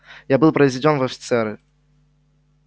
я был произведён в офицеры